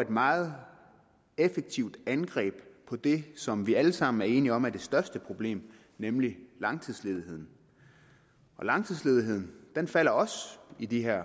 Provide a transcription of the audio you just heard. et meget effektivt angreb på det som vi alle sammen er enige om er det største problem nemlig langtidsledigheden langtidsledigheden falder også i de her